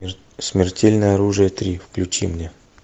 смертельное оружие три включи мне